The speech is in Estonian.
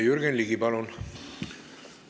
Jürgen Ligi, palun!